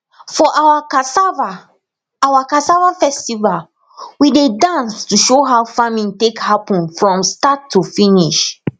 for our cassava our cassava festival we dey dance to show how farming take happen from start to finish